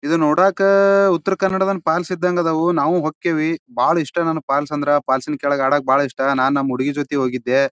ಇದು ನೋಡಾಕ ಉತ್ತರ ಕರ್ನಾಟಕ್ ಫಾಲ್ಸ್ ಇದಂಗ ಇದ್ದವು ನಾವು ಹೊಕ್ತೇವೆ ಬಹಳ ಇಷ್ಟ ನನಗೆ ಫಾಲ್ಸ್ ಅಂದ್ರೆ ಫಾಲ್ಸ್ ಇನ ಕೆಳಗ ಆಡಕ್ಕ ಬಾಲ್ ಇಷ್ಟ ನಾನು ನಮ್ ಹುಡುಗಿ ಜೊತಿಗ ಹೋಗಿದ್ದೆ.